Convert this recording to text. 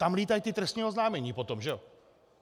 Tam lítají ta trestní oznámení potom, že jo?